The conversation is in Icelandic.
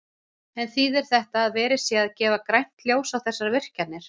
En þýðir þetta að verið sé að gefa grænt ljós á þessar virkjanir?